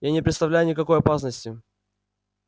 я не представляю никакой опасности